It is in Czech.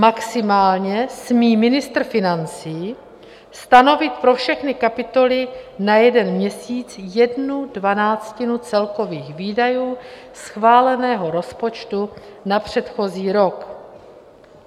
Maximálně smí ministr financí stanovit pro všechny kapitoly na jeden měsíc jednu dvanáctinu celkových výdajů schváleného rozpočtu na předchozí rok.